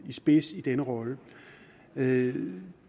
spidsen i denne rolle det